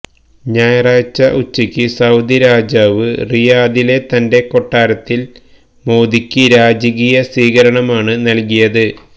ഞായറാഴ്ച ഉച്ചയ്ക്ക് സൌദി രാജാവ് റിയാദിലെ തന്റെ കൊട്ടാരത്തിൽ മോദിക്ക് രാജകീയ സ്വീകരണമാണ് നൽകിയത്